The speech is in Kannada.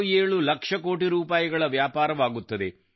67 ಲಕ್ಷ ಕೋಟಿ ರೂಪಾಯಿ ವ್ಯಾಪಾರವಾಗುತ್ತದೆ